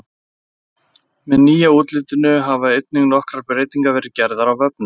Með nýja útlitinu hafa einnig nokkrar breytingar verið gerðar á vefnum.